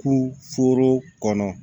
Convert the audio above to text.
Ku foro kɔnɔ